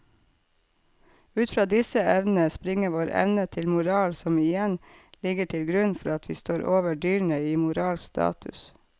Ut fra disse evnene springer vår evne til moral som igjen ligger til grunn for at vi står over dyrene i moralsk status.